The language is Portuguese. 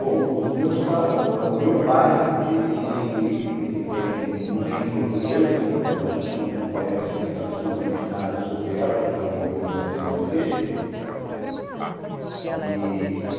Bom, os meus pais o meu pai, ele ele tem mãe portuguesa, mas a gente não conhece absolutamente nada sobre ela, porque ela morreu no nascimento dele. E